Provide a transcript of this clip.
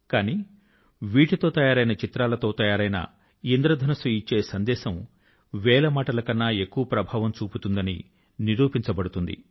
కానీ వీటితో తయారైన చిత్రాలతో తయారైన ఇంద్రధనుస్సు ఇచ్చే సందేశం వేల మాటల కన్నా ఎక్కువ ప్రభావం చూపుతుందని నిరూపించబడుతుంది